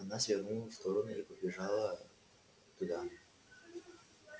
она свернула в сторону и подбежала туда